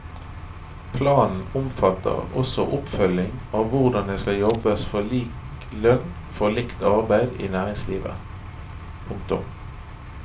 Planen omfatter også oppfølging av hvordan det skal jobbes for lik lønn for likt arbeid i næringslivet. punktum